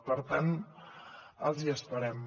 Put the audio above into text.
per tant els hi esperem